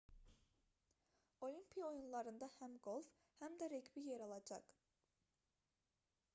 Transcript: olimpiya oyunlarında həm qolf həm də reqbi yer alacaq